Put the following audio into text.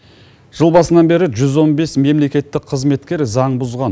жыл басынан бері жүз он бес мемлекеттік қызметкер заң бұзған